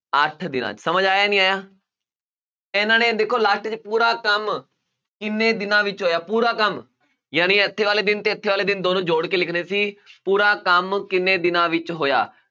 ਅੱਠ ਦਿਨਾਂ 'ਚ, ਸਮਝ ਆਇਆ ਨਹੀਂ ਆਇਆ ਇਹਨਾਂ ਨੇ ਦੇਖੋ last 'ਚ ਪੂਰਾ ਕੰਮ ਕਿੰਨੇ ਦਿਨਾਂ ਵਿੱਚ ਹੋਇਆ ਪੂਰਾ ਕੰਮ ਜਾਣੀ ਇੱਥੇ ਵਾਲੇ ਦਿਨ ਤੇ ਇੱਥੇ ਵਾਲੇ ਦਿਨ ਦੋਨੋਂ ਜੋੜ ਕੇ ਲਿਖਣੇ ਸੀ ਪੂਰਾ ਕੰਮ ਕਿੰਨੇ ਦਿਨਾਂ ਵਿੱਚ ਹੋਇਆ